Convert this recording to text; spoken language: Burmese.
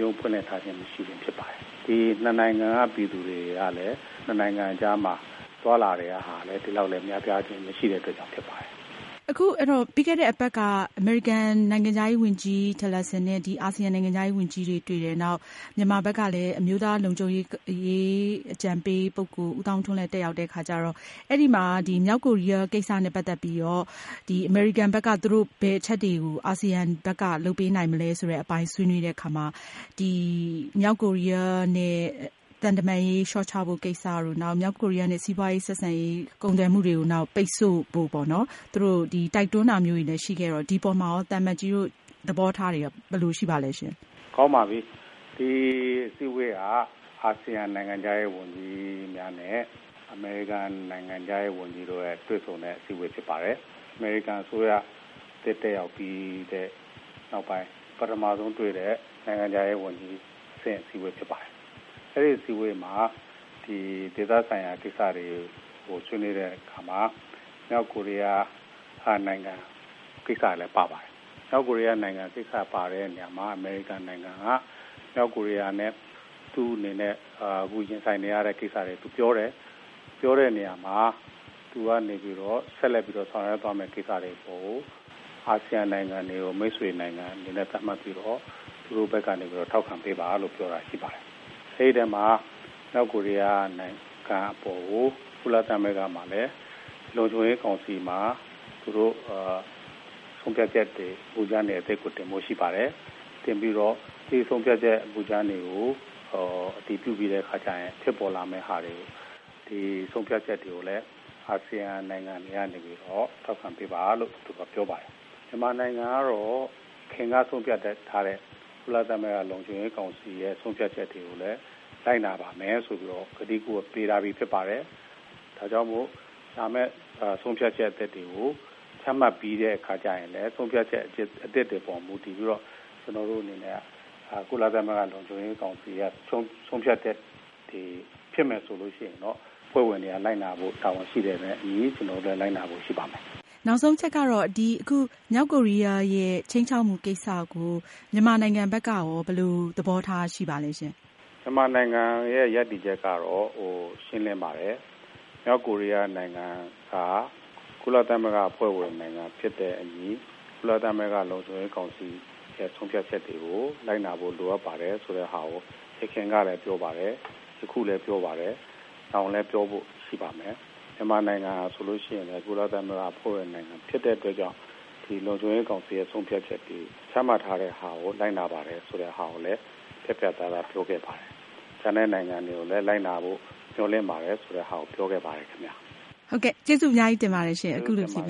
ရုံးဖွင့်ထားခြင်းမရှိတာဖြစ်ပါတယ်။ ၂ နိုင်ငံက ပြည်သူတွေကလည်း ၂ နိုင်ငံအကြားမှာ သွားလာတာကလည်း ဒီလောက်မရှိတဲ့အတွက်ကြောင့်ဖြစ်ပါတယ်။ ပြီးခဲ့တဲ့အပတ်က အမေရိကန်နိုင်ငံခြားရေးဝန်ကြီး Tillerson နဲ့ အာဆီယံနိုင်ငံခြားရေးဝန်ကြီး တွေ့တယ်။ နောက်မြန်မာဘက်ကလည်း အမျိုးသားလုံခြုံရေးအကြံပေး ပုဂ္ဂိုလ် ဦးသောင်းထွန်းလည်း တတ်ရောက်တဲ့အခါကျတော့ အဲဒီမှာ မြောက်ကိုရီးယားနဲ့ ပတ်သက်ပြီးတော့ အမေရိကန်ဘက်က ဘယ်အချက်တွေကို အာဆီယံဘက်က လုပ်ပေးနိုင်မလဲဆိုတဲ့အပိုင်းဆွေးနွေးတဲ့အခါမှာ မြောက်ကိုရီးယားနဲ့ သံတမန်ရေးလျှော့ချဖို့ ကိစ္စတို့ နောက်ပြီးတော့ မြောက်ကိုရီးယားနဲ့စီးပွားရေးဆက်ဆံရေး၊ ကုန်သွယ်မှုတွေကို ပိတ်ဆို့ဖို့ သူတို့တိုက်တွန်းတာမျိုးလည်းရှိခဲ့တော့ ဒီအပေါ်မှာရော သံအမတ်ကြီးတို့ သဘောထားတွေရော ဘယ်လိုရှိပါသလဲရှင့်။ ကောင်းပါပြီ ဒီအစည်းအဝေးဟာ အာဆီယံနိုင်ငံခြားရေးဝန်ကြီးများနဲ့ အမေရိကန်နိုင်ငံခြားရေးဝန်ကြီး တို့တွေ့ဆုံတဲ့ အစည်းအဝေးပါ။ အမေရိကန်အစိုးရ အသစ်တက်ရောက်ပြီးတဲ့နောက်ပိုင်း ပထမဆုံးတွေ့တဲ့ နိုင်ငံခြားရေးဝန်ကြီးအဆင့် အစည်းအဝေးဖြစ်ပါတယ်။ အဲဒီအစည်းအဝေးမှာ ဒေသဆိုင်ရာ ကိစ္စတွေကိုဆွေးနွေးတဲ့အခါမှာ မြောက်ကိုရီးယားနိုင်ငံကိစ္စတွေလည်း ပါပါတယ်။ မြောက်ကိုရီးယားနိုင်ငံကိစ္စပါတဲ့နေရာမှာ အမေရိကန်နိုင်ငံက မြောက်ကိုရီးယားနဲ့ပတ်သက်ပြီး သူတို့ရင်ဆိုင်ရတဲ့ ကိစ္စတွေ ပြောတယ်။ ပြောတဲ့နေရာမှာ သူကနေပြီးတော့ဆက်လက်ပြီးဆောင်ရွက်သွားမယ့် ကိစ္စတွေကို အာဆီယံနိုင်ငံတွေကို မိတ်ဆွေနိုင်ငံအနေနဲ့ သတ်မှတ်ပြီးတော့ သူတို့ဘက်ကနေပြီးတော့ ထောက်ခံပေးပါဆိုပြီးပြောတာရှိပါတယ်။ မြောက်ကိုရီးယားနိုင်ငံအပေါ်ကို ကုလသမဂ္ဂ လုံခြံရေးကောင်စီမှာ လည်း သူတို့ဆုံးဖြတ်ချက်မူကြမ်းအသစ်ကိုလည်း တင်ဖို့ရှိပါတယ်။ တင်ပြီးတော့ သူတို့ဆုံးဖြတ်ချက်မူကြမ်းတွေကို အတည်ပြုပြီးတဲ့အခါကျရင် ဖြစ်ပေါ်လာမယ့်ဟာတွေကိုလည်း အာဆီယံနိုင်ငံ တွေကနေပြီးတော့ ထောက်ခံပေးပါလို့ပြောပါတယ်။ မြန်မာနိုင်ငံအနေနဲ့ကတော့ အရင်ကဆုံးဖြတ်ထားတဲ့ ကုလသမဂ္ဂ လုံခြံရေးကောင်စီ ဆုံးဖြတ်ချက်တွေကိုလည်း လိုက်နာပါမယ်ဆိုပြီးတော့ ကတိကဝတ်ပေးပြီးသားဖြစ်ပါတယ်။ ဒါကြောင့် လာမယ့်ဆုံးဖြတ်ချက်အသစ်တွေကို ချမှတ်ပြီးတဲ့အခါဆိုရင်လည်း ဆုံးဖြတ်ချက်အသစ်တွေကိုမူတည်ပြီးတော့ ကုလသမဂ္ဂ လုံခြံရေးကောင်စီ ဆုံးဖြတ်ချက်တွေဖြစ်မယ်ဆိုရင်တော့ အဖွဲ့ဝင်တွေက လိုက်နာဖို့တာဝန်ရှိတာနဲ့အညီ ကျနေ်ာတို့လည်း လိုက်နာဖို့ရှိပါတယ်။ နောက်ဆုံးအချက်ကတော့ မြောက်ကိုရီးယားရဲ့ ခြိမ်းခြောက်မူကိစ္စကို မြန်မာနိုင်ငံဘက်ကရော ဘယ်လိုသဘောထားရှိပါသလဲရှင့်။ မြန်မာနိုင်ငံရပ်တည်ချက်ကတော့ ရှင်းလင်းပါတယ်။ မြောက်ကိုရီးယားနိုင်ငံက ကုလသမဂ္ဂ အဖွဲ့ဝင်ဖြစ်တဲ့အညီ ကုလသမဂ္ဂ လုံခြံရေးကောင်စီ ဆုံးဖြတ်ချက်တွေကို လိုက်နာဖို့လိုအပ်ပါတယ် ဆိုတာကို ယခင်ကလည်းပြောပါတယ်။ ယခုလည်းပြောပါတယ်၊ နောင်လည်းပြောဖို့ရှိပါတယ်။မြန်မာနိုင်ငံက ကုလသမဂ္ဂ အဖွဲ့ဝင်ဖြစ်တဲ့အတွက်ကြောင့် လုံခြံရေးကောင်စီ ဆုံးဖြတ်ချက်တွေ ချမှတ်ထားတာကို လိုက်နာပါတယ်ဆိုတာကိုလည်း ပြတ်ပြတ်သားသားပြောခဲ့ပါတယ်။ ကျန်တဲ့နိုင်ငံတွေကိုလည်း လိုက်နာဖို့မျှော်လင့်ပါတယ်ဆိုတာလည်း ပြောခဲ့ပါတယ်ခင်ဗျ။ ဟုတ်ကဲ့ ကျေးဇူးအများကြီးတင်ပါတယ်။အခုလိုဖြေပ